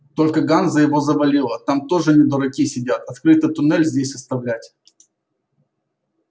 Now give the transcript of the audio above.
только ганза его завалила там тоже не дураки сидят открытый туннель здесь оставлять